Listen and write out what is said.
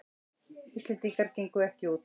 Íslendingar gengu ekki út